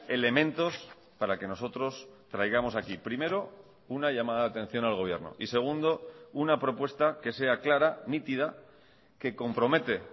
elementos para que nosotros traigamos aquí primero una llamada de atención al gobierno y segundo una propuesta que sea clara nítida que compromete